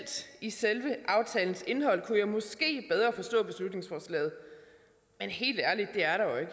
i selve aftalens indhold kunne jeg måske bedre forstå beslutningsforslaget men helt ærligt det er der jo